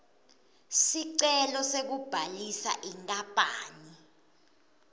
sicelo sekubhalisa inkapani